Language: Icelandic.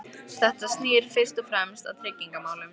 Þetta snýr fyrst og fremst að tryggingamálum.